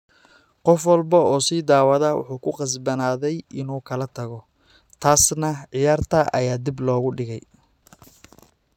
"Qof walba oo ii soo dhawaada wuxuu ku qasbanaaday inuu kala tago, taasna ciyaarta ayaa dib loo dhigay."